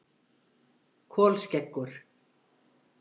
Kolskeggur